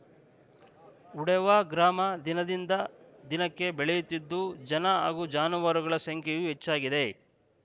ಉಡೇವಾ ಗ್ರಾಮ ದಿನದಿಂದ ದಿನಕ್ಕೆ ಬೆಳೆಯುತ್ತಿದ್ದು ಜನ ಹಾಗೂ ಜಾನುವಾರುಗಳ ಸಂಖ್ಯೆಯೂ ಹೆಚ್ಚಾಗಿದೆ